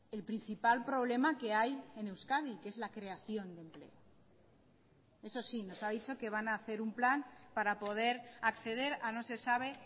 el principal problema que hay en euskadi que es la creación de empleo eso sí nos ha dicho que van a hacer un plan para poder acceder a no se sabe